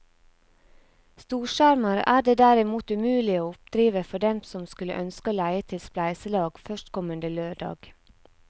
Storskjermer er det derimot umulig å oppdrive for dem som skulle ønske å leie til spleiselag førstkommende lørdag.